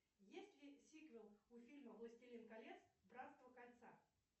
есть ли сиквел у фильма властелин колец братство кольца